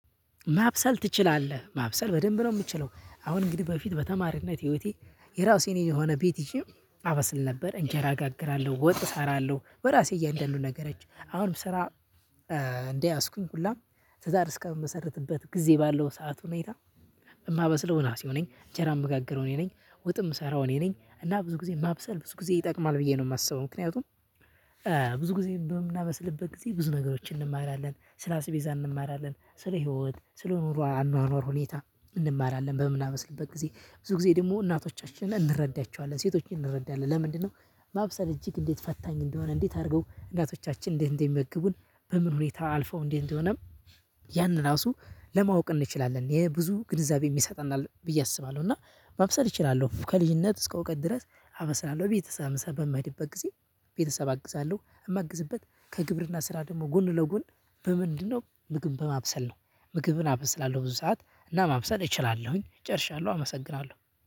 ማብሰል ትችላለህ ማብሰል በደንብ ነው? ምችለው አሁን እንግዲህ በፊት በተማሪነት ህይወቴ የራሴን የሆነ ቤት ይዤ አበስል ነበር እንጀራ እጋግራለሁ ወጥ እሰራለሁ በራሴ እያንዳንዱ ነገሮች አሁንም ስራ። ያዝኩኝ ሁላም ትዳር እስከምመሰርትበት ጊዜ ባለው ሰዓት ሁኔታ። የማበስለው እራሴው ነኝ እንጀራ አምጋግረው እኔ ነኝ ወጥ የምሰራው እኔ ነኝ እና ብዙ ጊዜ ማብሰል ብዙ ጊዜ ይጠቅማል ብዬ ነው የማስበው። ምክንያቱም ብዙ ጊዜ በምናበስልበት ጊዜ ብዙ ነገሮችን እንማራለን ስለ አስቤዛ እንማራለን ስለ ህይወት ስለ ኑሮ አኗኗር ሁኔታ። እንማራለን በምናበስልበት ጊዜ ብዙ ጊዜ ደግሞ እናቶቻችንን እንረዳቸዋለን ሴቶችን እንረዳለን። ለምንድነው? ማብሰል እጅግ እንዴት ፈታኝ እንደሆነ እንዴት አድርገው እናቶቻችን እንዴት እንደሚመግቡን በምን ሁኔታ አልፈው እንዴት እንደሆነም ያን ራሱ ለማወቅ እንችላለን የብዙ ግንዛቤም ይሰጠናል ብዬ አስባለሁ። እና ማብሰል እችላለሁ ከልጅነት እስከ እውቀት ድረስ አበስላለሁ እቤት ስለምሰራ በምሄድበት ጊዜ ቤተሰብ አግዛለሁ። እማግዝበት ከግብርና ስራ ደግሞ ጎን ለጎን በምንድነው ምግብን በማብሰል ነው? ምግብን አበስላለሁ ብዙ ሰዓት እና ማብሰል እችላለሁኝ ጨርሻለሁ አመሰግናለሁ